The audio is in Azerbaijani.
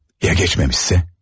Ya keçməmişsə?